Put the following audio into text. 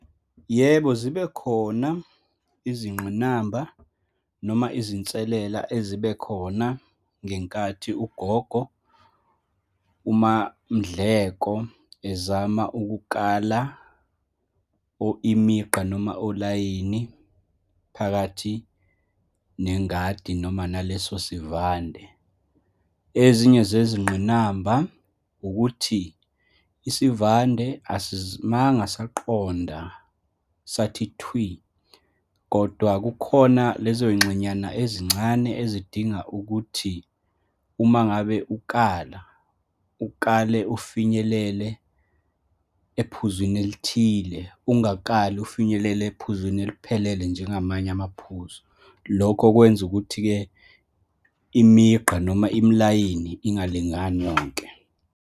Yebo, zibe khona izingqinamba, noma izinselela ezibe khona ngenkathi ugogo uMamNdleko ezama ukukala or imigqa, noma olayini phakathi nengadi noma naleso sivande. Ezinye zezingqinamba ukuthi, isivande asimanga saqonda sathi thwi, kodwa kukhona lezo y'ngxenyana ezincane ezidinga ukuthi uma ngabe ukala, ukale ufinyelele ephuzwini elithile, ungakali ufinyelele ephuzwini eliphelele, njengamanye amaphuzu. Lokho kwenza ukuthi-ke imigqa noma imilayini engalingani yonke.